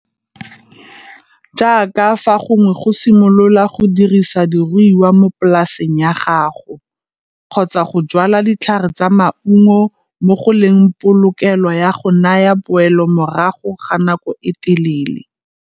Jaaka fa gongwe go simolola go dirisa diruiwa mo polaseng ya gago, kgotsa go jwala ditlhare tsa maungo, mo go leng polokelo ya go naya poelo morago ga nako e telele.